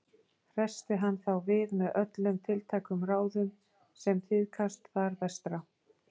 Hressti hann þá við með öllum tiltækum ráðum sem tíðkast þar vestra.